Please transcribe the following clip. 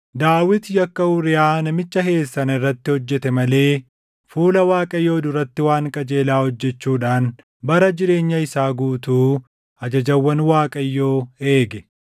Daawit yakka Uuriyaa namicha Heet sana irratti hojjete malee fuula Waaqayyoo duratti waan qajeelaa hojjechuudhaan bara jireenya isaa guutuu ajajawwan Waaqayyoo eege.